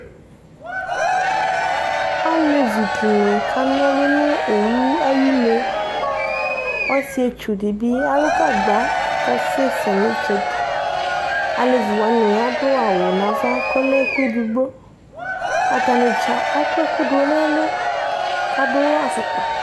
Alevi dini kana ɔlu nu owu ayu une Ɔsietsu di bi alu gagba ku ɔkasɛsɛ nu itsɛdi Alevi wani adu awu nu ava ku ɔlɛ ɛku ɛdigbo Atanidza akɔ ɛku du nu ɛlu ku adu afukpa